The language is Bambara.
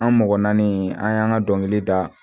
An mɔgɔ naani an y'an ka dɔnkili da